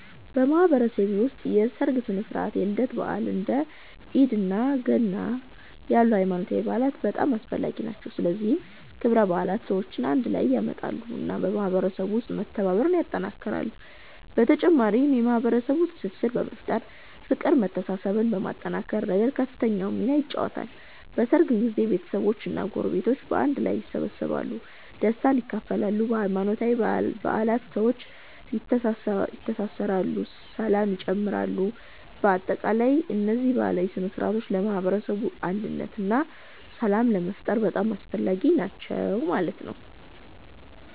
በማህበረሰቤ ውስጥ የሠርግ ሥነ ሥርዓት፣ የልደት በዓላት፣ እንደ ኢድ እና ገና ያሉ ሃይማኖታዊ በዓላት በጣም አስፈላጊ ናቸው። እነዚህ ክብረ በዓላት ሰዎችን አንድ ላይ ያመጣሉ እና በማህበረሰቡ ውስጥ መተባበርን ያጠናክራሉ። በተጨማሪም የማህበረሰቡን ትስስር በመፍጠር፤ ፍቅርን መተሳሰብን ከማጠናከር ረገድ ከፍተኛውን ሚና ይጫወታሉ። በሠርግ ጊዜ ቤተሰቦች እና ጎረቤቶች በአንድ ላይ ይሰበሰባሉ፣ ደስታን ይካፈላሉ። በሃይማኖታዊ በዓላትም ሰዎች ይተሳሰራሉ ሰላም ይጨምራሉ። በአጠቃላይ እነዚህ ባህላዊ ሥነ ሥርዓቶች ለማህበረሰብ አንድነት እና ሰላም ለመፍጠር በጣም አስፈላጊ ናቸው።